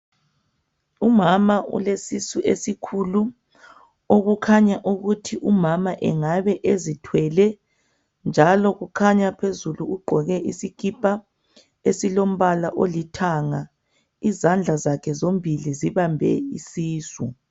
Umama ulesisu esikhulu okukhanya ukuthi umama engabe ezithwele njalo kukhanya phezulu ugqoke esilombala olithanga izandla zakhe tombola zibambe isisu